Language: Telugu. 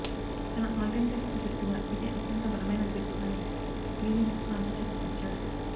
తన ఆల్టైమ్ టెస్టు జట్టుగా ఇదే అత్యంత బలమైన జట్టు అని యూనిస్ ఖాన్ చెప్పుకొచ్చాడు